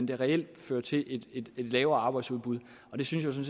det reelt fører til et lavere arbejdsudbud og det synes